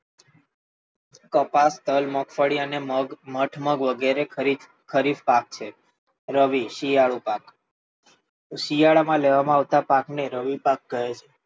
કપાસ, તલ, મગફળી અને મગ, મઠ વગેરે ખરીફ પાક છે. રવિ શિયાળુ પાક, શિયાળ માં લેવામાં આવતા પાક ને રવિ પાક કહે છે.